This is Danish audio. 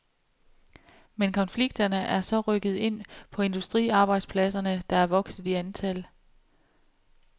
Men konflikterne er så rykket ind på industriarbejdspladserne, der er vokset i antal.